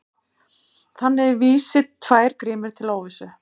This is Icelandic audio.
Þannig vísi tvær grímur til óvissu.